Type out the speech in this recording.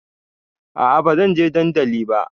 A'a bazan je dandali ba